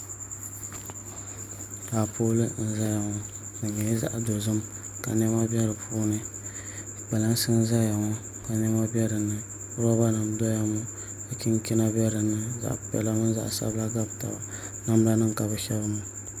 Taapooli n ʒɛya ŋɔ di nyɛla zaɣ dozim ka niɛma bɛ di puuni kpalansi n ʒɛya ŋɔ ka niɛma bɛ dinni roba nim n doya ŋɔ ka chinchina bɛ dinni zaɣ piɛla mini zaɣ sabila ka bi shɛbi n gabi taba